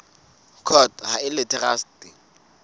court ha e le traste